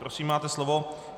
Prosím, máte slovo.